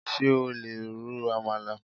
Ṣé o lè ro Amalà?